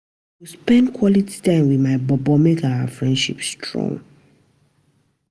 I go spend quality time wit my bobo make our relationship strong